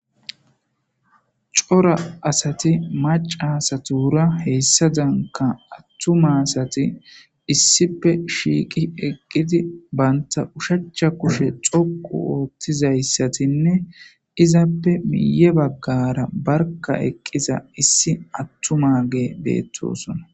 cora asati maca asatuura heyssadanka attuma asati issipe shiiqi eqqidi banta ushachcha kushe xoqu oottizayssatinne izappe miye baggara barka eqqiza issi attu maage beettosona